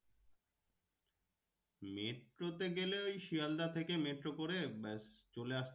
মেট্রোতে গেলে ওই শিয়ালদাহ থেকে মেট্রো করে ব্যাস চলে